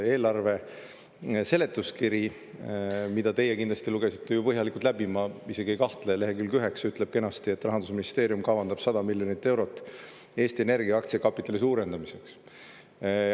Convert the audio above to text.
Eelarve seletuskiri, mille teie kindlasti lugesite ju põhjalikult läbi, ma isegi ei kahtle, ütleb leheküljel 9 kenasti, et Rahandusministeerium kavandab 100 miljonit eurot Eesti Energia aktsiakapitali suurendamiseks.